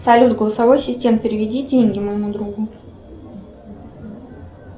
салют голосовой ассистент переведи деньги моему другу